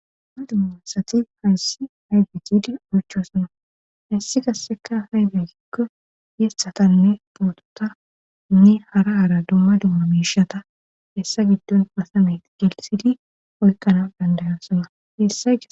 Dumma dumma sati hayssi aydigdi oycho sona hassi kasseka haydekikko yeshatanne pootota nne hara haara dumma dumma miishata hessa giddon pasameyt gelsidi oykkana dandayasona yessa.